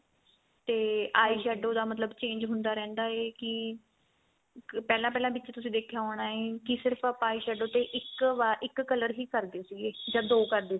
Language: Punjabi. ਤੇ eyeshadow da ਮਤਲਬ change ਹੁੰਦਾ ਰਹਿੰਦਾ ਏ ਕੀ ਇੱਕ ਪਹਿਲਾਂ ਪਹਿਲਾਂ ਵਿੱਚ ਤੁਸੀਂ ਦੇਖਿਆ ਹੋਣਾ ਏ ਕੀ ਸਿਰਫ ਆਪਾਂ eyeshadow ਤੇ ਇੱਕ ਵਾਰ ਇੱਕ color ਹੀ ਕਰਦੇ ਸੀਗੇ ਜਾਂ ਦੋ ਕਰਦੇ